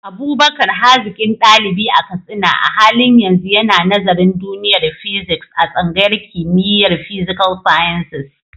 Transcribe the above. Abubakar, hazikin dalibi a Katsina, a halin yanzu yana nazarin duniyar Physics a tsangayar kimiyyar Physical Sciences.